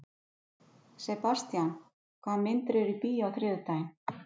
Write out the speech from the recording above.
Sebastian, hvaða myndir eru í bíó á þriðjudaginn?